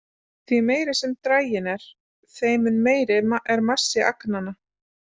Því meiri sem draginn er, þeim mun meiri er massi agnanna.